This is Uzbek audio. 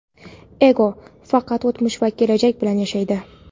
Ego - faqat o‘tmish va kelajak bilan yashaydi.